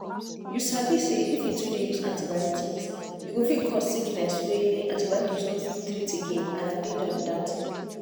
you sabi say if you too dey use antibiotics e go fit cause sickness wey antibiotics no fit treat again and na danger be that.